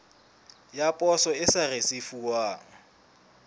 ya poso e sa risefuwang